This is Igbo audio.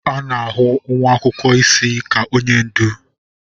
A na-ahụ nwa akwụkwọ isi ka onye ndu.